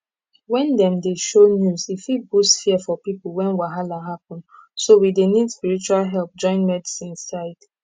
when dem dey show news e fit boost fear for people when wahala happen so we dey need spiritual help join medicine side